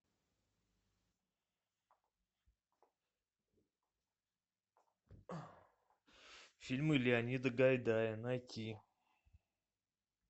фильмы леонида гайдая найти